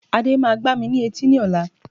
Ade máa gbá mi ní etí ní ọ̀la